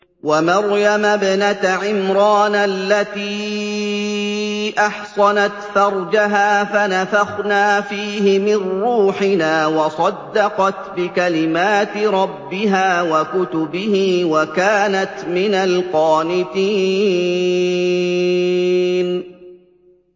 وَمَرْيَمَ ابْنَتَ عِمْرَانَ الَّتِي أَحْصَنَتْ فَرْجَهَا فَنَفَخْنَا فِيهِ مِن رُّوحِنَا وَصَدَّقَتْ بِكَلِمَاتِ رَبِّهَا وَكُتُبِهِ وَكَانَتْ مِنَ الْقَانِتِينَ